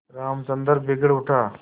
रामचंद्र बिगड़ उठा